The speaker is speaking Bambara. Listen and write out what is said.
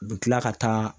U bɛ tila ka taa